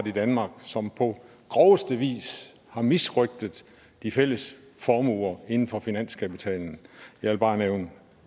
i danmark som på groveste vis har misrøgtet de fælles formuer inden for en finanskapitalen jeg vil bare nævne